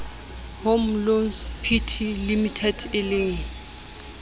home loans pty limited eleng